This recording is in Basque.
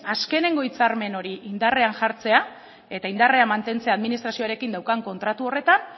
azkenengo hitzarmen hori indarrean jartzea eta indarrean mantentzea administrazioarekin daukan kontratu horretan